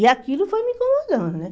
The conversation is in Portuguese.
E aquilo foi me incomodando, né?